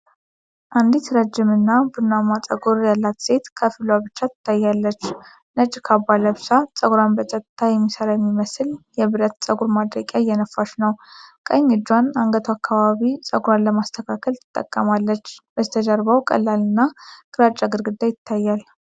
አንዲት ረጅም እና ቡናማ ፀጉር ያላት ሴት ከፊሏ ብቻ ትታያለች፣ ነጭ ካባ ለብሳ ፀጉሯን በጸጥታ በሚሰራ የሚመስል የብረት ፀጉር ማድረቂያ እየነፋች ነው። ቀኝ እጇን አንገቷ አካባቢ ፀጉሯን ለማስተካከል ትጠቀማለች። ከበስተጀርባው ቀላልና ግራጫ ግድግዳ ይታያል።